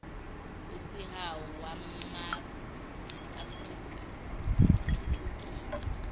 wesihawu wamaafrika uthuthukile